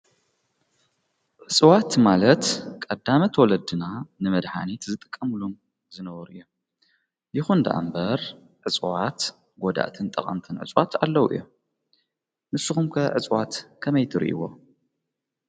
ዕፅዋት ማለት ቀዳመት ወለድና ንመድኃኒት ዝጠቀምሉ ዝነበሩ እዮ ይኹንደኣ እምበር ዕፅዋት ጐዳእትን ጠቐንተን ዕጽዋት ኣለዉ እዮ ንስኹምከ ዕጽዋት ከመይትሩ ይዎ።